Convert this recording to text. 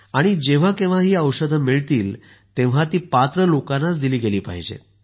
आणि जेंव्हा केंव्हा ही औषधे मिळतील तेंव्हा ती पात्र लोकांनाच दिली गेली पाहिजेत